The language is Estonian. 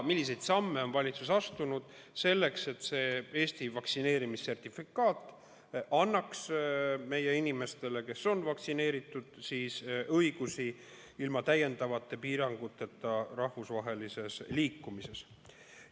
Milliseid samme on valitsus astunud selleks, et Eesti vaktsineerimissertifikaat annaks meie inimestele, kes on vaktsineeritud, õiguse liikuda ilma täiendavate piiranguteta piiri taga?